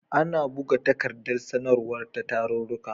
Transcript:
Ana buga takardar sanarwa ta tarurruka.